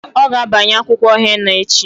Ọ ga abanye akwụkwọ henna echi.